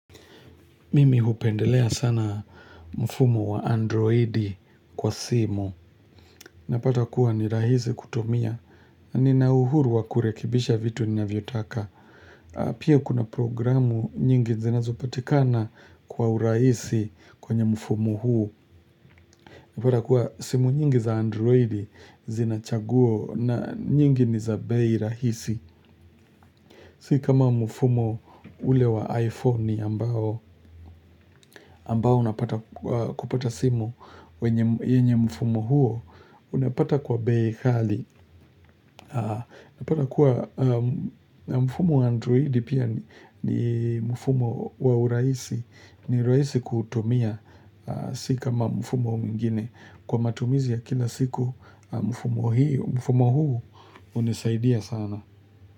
Mimi hupendelea sana mfumo wa androidi kwa simu. Napata kuwa ni rahisi kutumia. Nina uhuru wa kurekibisha vitu ninavyotaka. Pia kuna programu nyingi zinazopatikana kwa urahisi kwenye mfumo huu. Napata kuwa simu nyingi za androidi zina chaguo na nyingi ni za bei rahisi. Si kama mfumo ule wa iPhoni ambao, ambao napata kupata simu wenye, yenye mfumo huo, unapata kwa bei kali. Unapata kuwa mfumo wa Androidi pia ni mfumo wa urahisi, ni rahisi kuutumia. Si kama mfumo mwingine. Kwa matumizi ya kila siku, mfumo hiyo, mfumo huu hunisaidia sana.